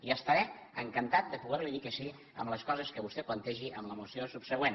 i estaré encantat de poder li dir que sí a les coses que vostè plantegi en la moció subsegüent